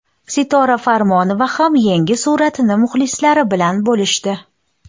Sitora Farmonova ham yangi suratini muxlislari bilan bo‘lishdi.